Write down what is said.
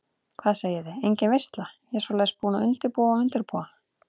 Hvað segiði, engin veisla, ég svoleiðis búin að undirbúa og undirbúa.